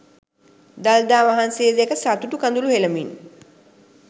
දළදා වහන්සේ දැක සතුටු කඳුළු හෙලමින්